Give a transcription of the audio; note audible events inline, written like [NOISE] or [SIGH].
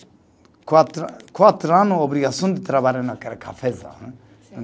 Quatro, quatro ano, obrigação de trabalhar naquela cafezal, né [UNINTELLIGIBLE]